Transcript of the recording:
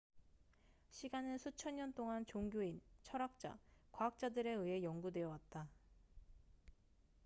시간은 수천 년 동안 종교인 철학자 과학자들에 의해 연구되어 왔다